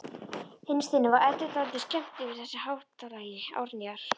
Innst inni var Eddu dálítið skemmt yfir þessu háttalagi Árnýjar.